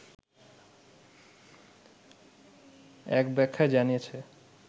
এক ব্যাখ্যায় জানিয়েছে